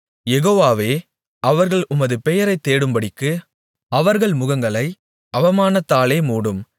யெகோவாவே அவர்கள் உமது பெயரைத் தேடும்படிக்கு அவர்கள் முகங்களை அவமானத்தாலே மூடும்